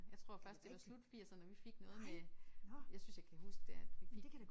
Jeg tror først det var slut firserne vi fik noget med jeg synes jeg kan huske det at vi fik